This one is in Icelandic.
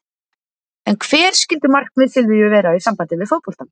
En hver skyldu markmið Silvíu vera í sambandi við fótboltann?